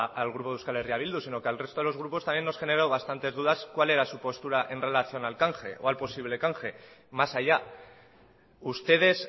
al grupo de euskal herri bildu sino que al resto de los grupos también nos generó bastantes dudas de cuál era su postura en relación al canje o al posible canje más allá ustedes